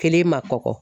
Kelen ma kɔkɔ